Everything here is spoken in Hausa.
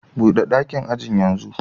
Bude dakin ajin yanzu